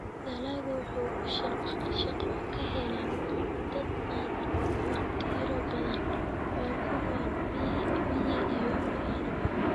Dalaggu waxa uu shaqo ka helaa dad aad u tiro badan oo ku nool miyi iyo magaalaba.